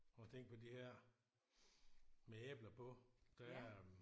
Prøv at tænke på de her med æbler på der er